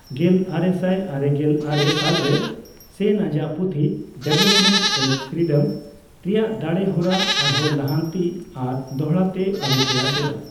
ᱜᱮᱞᱟᱨᱮᱥᱟᱭ ᱟᱨᱮᱜᱮᱞ ᱟᱨᱮ ᱥᱟᱞᱨᱮ, ᱥᱮᱱ ᱟᱡᱟᱜ ᱯᱩᱛᱷᱤ 'ᱰᱮᱵᱷᱮᱞᱚᱯᱢᱮᱱᱴ ᱮᱡ ᱯᱷᱤᱨᱤᱰᱚᱢ' ᱨᱮᱱᱟᱜ ᱫᱟᱲᱮ ᱦᱚᱨᱟ ᱟᱨᱦᱚᱸ ᱞᱟᱦᱟᱱᱛᱤ ᱟᱨ ᱫᱚᱦᱲᱟᱛᱮ ᱟᱹᱨᱩᱯᱷᱮᱨᱟ ᱠᱮᱫᱟ ᱾